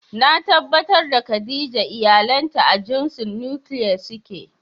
Na tabbatar da Khadijah iyalanta a jinsin "Nuclear" suke.